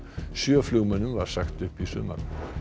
sjö flugmönnum var sagt upp í sumar